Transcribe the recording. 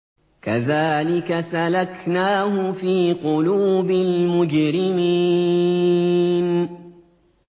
كَذَٰلِكَ سَلَكْنَاهُ فِي قُلُوبِ الْمُجْرِمِينَ